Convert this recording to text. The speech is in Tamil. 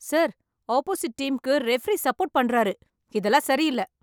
சார், ஆப்போசிட் டீம்க்கு ரெபெரீ சப்போர்ட் பன்றாரு, இதெல்லாம் சரி இல்ல.